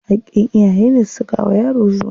Haƙƙin iyayene su saka wa yaro suna.